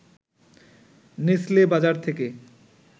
Nestle বাজার থেকে